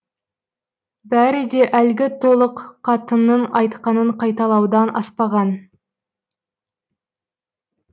бәрі де әлгі толық қатынның айтқанын қайталаудан аспаған